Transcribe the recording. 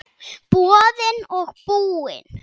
Boðinn og búinn.